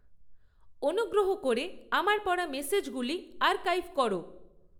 অনুগ্রহ করে আমার পড়া মেসেজগুলো আর্কাইভ করো